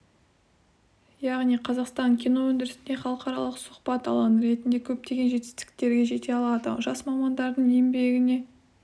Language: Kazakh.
яғни қазақстан кино өндірісінде халықаралық сұхбат алаңы ретінде көптеген жетістіктерге жете алады жас мамандардың еңбегіне